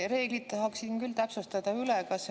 Reeglid tahaksin küll üle täpsustada.